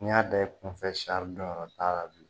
N'i y'a da i kunfɛ don yɔrɔ t'a la bilen